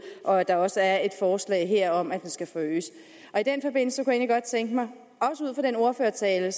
og at der også er et forslag her om at den skal forøges i godt tænke mig at den ordførertale